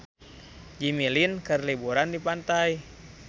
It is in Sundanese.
Jimmy Lin keur liburan di pantai